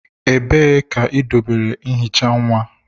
Ebee ka idobere ihicha nwa?